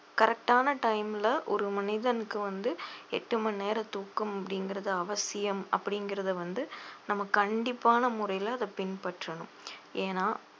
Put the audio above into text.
correct ஆன time ல ஒரு மனிதனுக்கு வந்து எட்டு மணி நேர தூக்கம் அப்படிங்கிறது அவசியம் அப்படிங்கிறதை வந்து நம்ம கண்டிப்பான முறையில அதை பின்பற்றணும் ஏன்னா